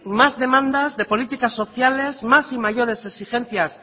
más demandas de políticas sociales más y mayores exigencias